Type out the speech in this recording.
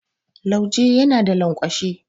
Lauje yana da lanƙwashe.